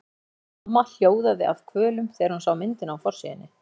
Hanna-Mamma hljóðaði af kvölum þegar hún sá myndina á forsíðunni.